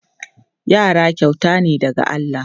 Yara kyauta ne daga Allah.